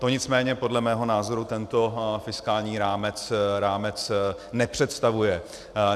To nicméně podle mého názoru tento fiskální rámec nepředstavuje.